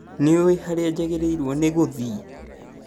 Nĩũĩ harĩa njagĩrĩirwo nĩgũthiĩ?